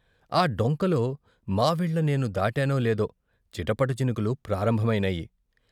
ఆ డొంకలో మావిళ్ళ నేను దాటానో లేదో చిటపట చినుకులు ప్రారంభమైనాయి.